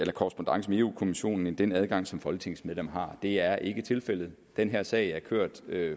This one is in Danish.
eu kommissionen end den adgang som folketingets medlemmer har det er ikke tilfældet den her sag er kørt